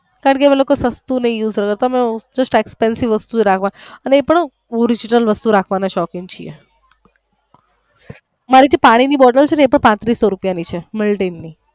કારણકે અમે લોકો સસ્તું નઈ use નઈ કરતા અમે expansive વસ્તુ રાખવા એ પણ orignal રાખવાના શોખીન છીએ મારી જે પાણી ની બોટલ છે ને એ પણ પાંત્રીસો રૂપિયા ની છે મિલટીન.